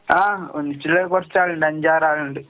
ആഹ് ഒന്നിച്ചിള്ളത് കൊറച്ചാളിണ്ട് അഞ്ചാറാളിണ്ട്.